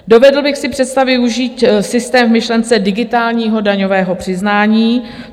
Dovedl bych si představit využít systém v myšlence digitálního daňového přiznání.